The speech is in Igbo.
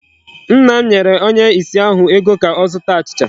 Nna m nyere onye ìsì ahụ ego ka ọ zụta achịcha.